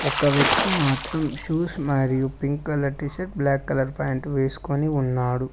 ఒక వ్యక్తి మాత్రం షూస్ మరియు pink colour T shirt black colour pant వేసుకొని ఉన్నాడు.